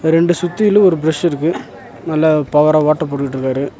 ரெண்டு சுத்திலு ஒரு ப்ரஷ் இருக்கு நல்லா பவரா ஓட்ட போட்டுட்ருக்காரு.